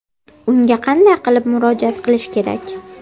Unga qanday qilib murojaat qilish kerak?